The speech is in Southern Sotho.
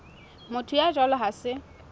motho ya jwalo ha se